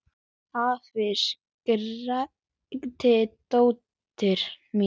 Afi! skrækti dóttir mín.